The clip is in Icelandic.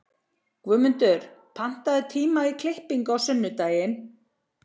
Guðmundur, pantaðu tíma í klippingu á sunnudaginn.